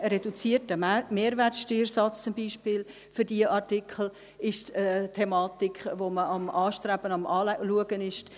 Zum Beispiel ist ein reduzierter Mehrwertsteuersatz für diese Artikel eine Thematik, die man anstrebt, die man sich anschaut.